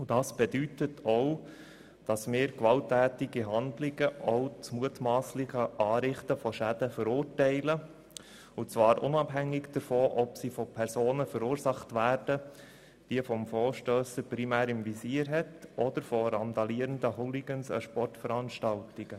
Das bedeutet auch, dass wir gewalttätige Handlungen und mutwilliges Anrichten von Schäden verurteilen, und zwar unabhängig davon, ob sie von den Personen verursacht werden, die der Motionär primär im Visier hat oder von randalierenden Hooligans bei Sportveranstaltungen.